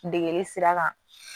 Degeli sira kan